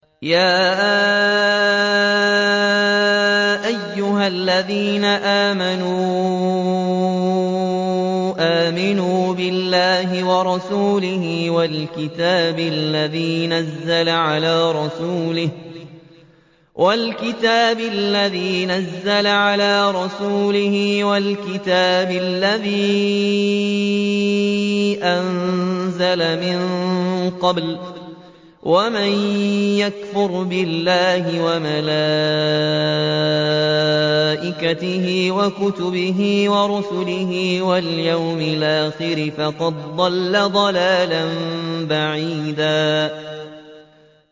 يَا أَيُّهَا الَّذِينَ آمَنُوا آمِنُوا بِاللَّهِ وَرَسُولِهِ وَالْكِتَابِ الَّذِي نَزَّلَ عَلَىٰ رَسُولِهِ وَالْكِتَابِ الَّذِي أَنزَلَ مِن قَبْلُ ۚ وَمَن يَكْفُرْ بِاللَّهِ وَمَلَائِكَتِهِ وَكُتُبِهِ وَرُسُلِهِ وَالْيَوْمِ الْآخِرِ فَقَدْ ضَلَّ ضَلَالًا بَعِيدًا